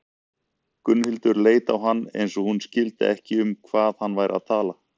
Gunnhildur leit á hann eins og hún skildi ekki um hvað hann væri að tala.